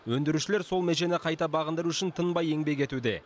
өндірушілер сол межені қайта бағындыру үшін тынбай еңбек етуде